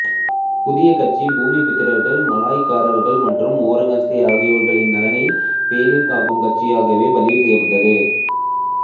புதிய கட்சி பூமிபுத்ராக்கள் மலாய்க்காரர்கள் மற்றும் ஒராங் அஸ்லி ஆகியோர்களின் நலனை பேணும்கட்சியாகவே பதிவு செய்யப்பட்டது